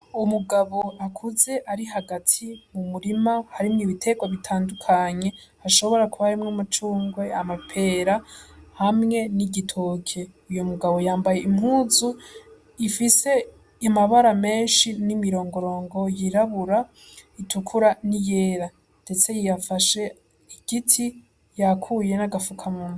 Umugabo akuze ari hagati mu murima harimwo ibitego bitandukanye hashobora kuba arimwo umucungwe amapera hamwe n'igitoke uyo mugabo yambaye impuzu ifise imabara menshi n'imirongorongo yirabura itukura ni yera, ndetse yiyafashe igiti yakuye n'agafuka muntu.